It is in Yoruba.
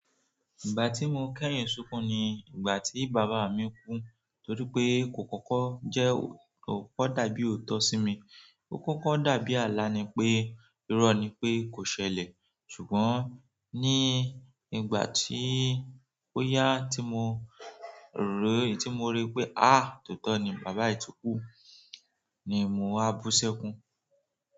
Ìgbà tí mo kẹ́yìn sunkún ni ìgbà tí bàbá mi kú, torí pé kò kọ́kọ́ jẹ́ ò, ko kọkọ dàbí òótọ́ sí mi. Ó kọ́kọ́ dàbí àlá ni pé, irọ́ ni pé kò ṣẹlẹ̀. Ṣùgbọ́n ní ìgbà tí oya tí mo rí, tí mo rí pé a tóotọ́ ni bàbá yi ti kù ni mo wá bú ṣẹ́kún.